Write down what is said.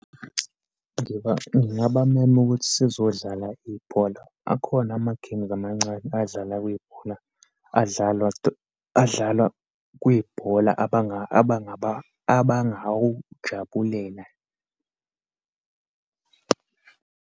Ngingabamema ukuthi sizodlala ibholo. Akhona ama-kings amancane adlala kwibhola, adlalwa adlalwa kwibhola abangawujabulela.